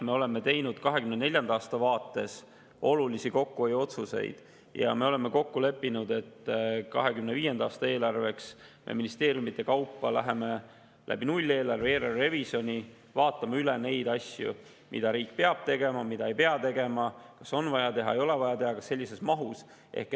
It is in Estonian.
Me oleme teinud 2024. aasta vaates olulisi kokkuhoiuotsuseid ja oleme kokku leppinud, et 2025. aasta eelarve vaatame ministeeriumide kaupa nulleelarve ja eelarverevisjoni kaudu üle need asjad, mida riik peab tegema, mida ei pea tegema, kas neid on vaja teha, ei ole vaja teha, kas sellises mahus.